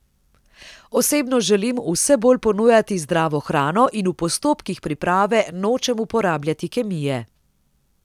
Osebno želim vse bolj ponujati zdravo hrano in v postopkih priprave nočem uporabljati kemije.